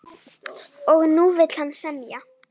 Og nú vill hann semja!